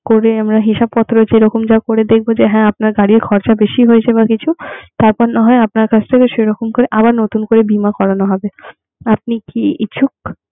করে আমরা হিসাবপত্র যেরকম যা করে দেখবো যে হ্যা আপনার গাড়ির খরচা বেশি হয়েছে বা কিছু তারপর না হয় আপনার কাছ থেকে সেরকম করে আবার নতুন করে বীমা করানো হবে. আপনি কি ইচ্ছুক?